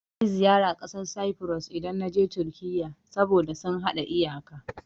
Zan kai ziyara ƙasar Safuros, idan na je Turkiyya, saboda sun haɗa iyaka.